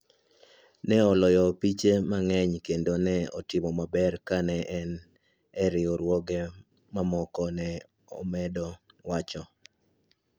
Ne oloyo opiche mang`eny kendo ne otimo maber ka ne en e riwruoge mamoko, ne omedo wacho.